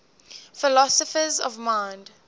philosophers of mind